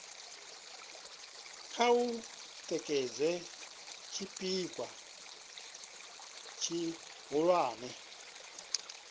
kha u tikedza tshipikwa tshihulwane